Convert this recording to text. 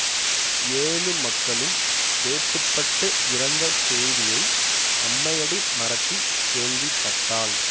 ஏழு மக்களும் வேட்டுப்பட்டு இறந்த செய்தியை அம்மையடி மறத்தி கேள்விப்பட்டாள்